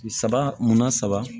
Saba munna saba